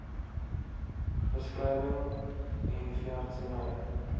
beskrywing n veeartseny